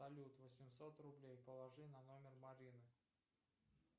салют восемьсот рублей положи на номер марины